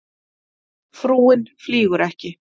Frúin flýgur ekki